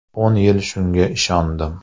O‘n yil shunga ishondim.